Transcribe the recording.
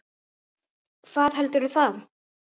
Hvað heldur það?